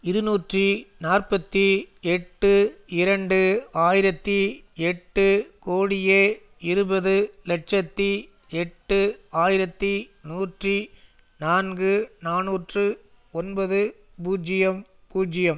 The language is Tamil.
இருநூற்றி நாற்பத்தி எட்டு இரண்டு ஆயிரத்தி எட்டு கோடியே இருபது இலட்சத்தி எட்டு ஆயிரத்தி நூற்றி நான்கு நாநூற்று ஒன்பது பூஜ்ஜியம் பூஜ்ஜியம்